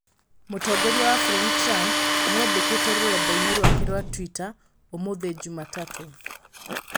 Mũtongoria wa bũrũri Trump nĩandĩkĩte rũrendai-inĩ rwake rwa Twitter ũmũthĩ juma tatũ